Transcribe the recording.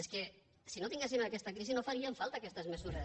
és que si no tinguéssim aquesta crisi no farien falta aquestes mesures